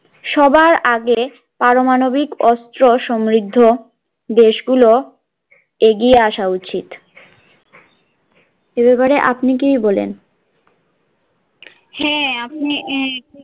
সবার আগে পারমাণবিক অস্ত্র সমৃদ্ধ দেশ গুলো এগিয়ে আশা উচিত এ বেপারে আপনি কি বলেন, হ্যা আপনি